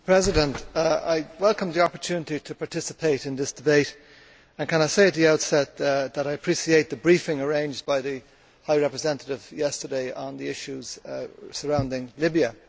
Mr President, I welcome the opportunity to participate in this debate and can I say at the outset that I appreciate the briefing arranged by the High Representative yesterday on the issues surrounding Libya.